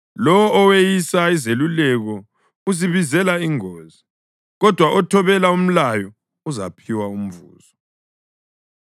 Lowo oweyisa izeluleko uzibizela ingozi, kodwa othobela umlayo uzaphiwa umvuzo.